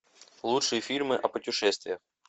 лучшие фильмы о путешествиях